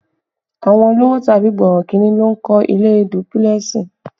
Àwọn olówò tàbí borokinni ló ń kọ́ ilé dúpílẹ̀sì